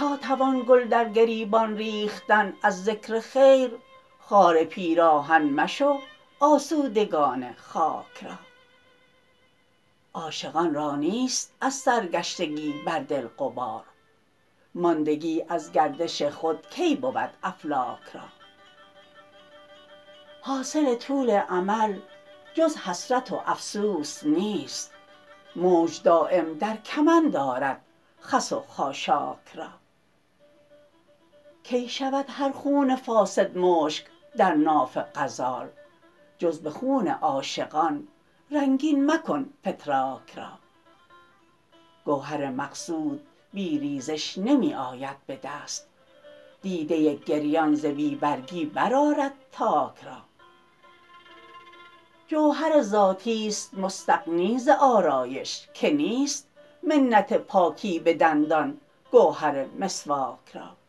تا توان گل در گریبان ریختن از ذکر خیر خار پیراهن مشو آسودگان خاک را عاشقان را نیست از سرگشتگی بر دل غبار ماندگی از گردش خود کی بود افلاک را حاصل طول امل جز حسرت و افسوس نیست موج دایم در کمند آرد خس و خاشاک را کی شود هر خون فاسد مشک در ناف غزال جز به خون عاشقان رنگین مکن فتراک را گوهر مقصود بی ریزش نمی آید به دست دیده گریان ز بی برگی برآرد تاک را جوهر ذاتی است مستغنی ز آرایش که نیست منت پاکی به دندان گهر مسواک را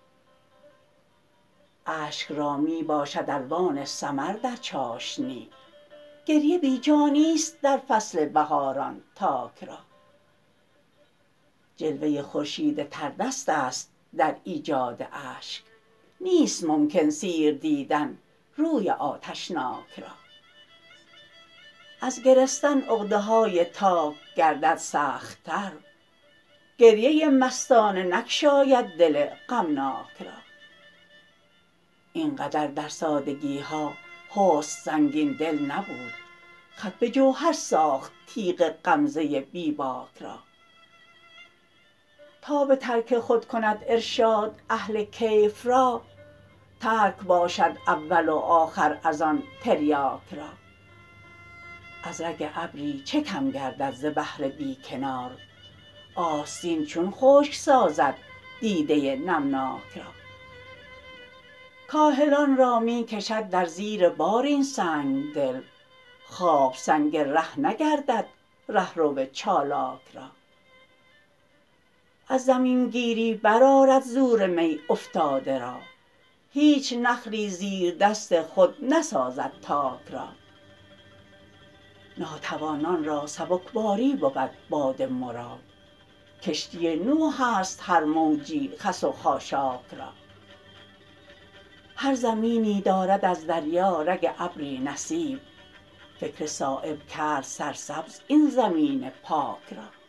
اشک را می باشد الوان ثمر در چاشنی گریه بی جا نیست در فصل بهاران تاک را جلوه خورشید تر دست است در ایجاد اشک نیست ممکن سیر دیدن روی آتشناک را از گرستن عقده های تاک گردد سخت تر گریه مستانه نگشاید دل غمناک را اینقدر در سادگی ها حسن سنگین دل نبود خط به جوهر ساخت تیغ غمزه بی باک را تا به ترک خود کند ارشاد اهل کیف را ترک باشد اول و آخر ازان تریاک را از رگ ابری چه کم گردد ز بحر بی کنار آستین چون خشک سازد دیده نمناک را کاهلان را می کشد در زیر بار این سنگدل خواب سنگ ره نگردد رهرو چالاک را از زمین گیری برآرد زورمی افتاده را هیچ نخلی زیر دست خود نسازد تاک را ناتوانان را سبکباری بود باد مراد کشتی نوح است هر موجی خس و خاشاک را هر زمینی دارد از دریا رگ ابری نصیب فکر صایب کرد سرسبز این زمین پاک را